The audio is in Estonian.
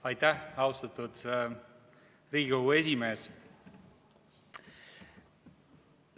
Aitäh, austatud Riigikogu esimees!